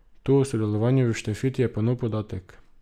To o sodelovanju v štafeti je pa nov podatek.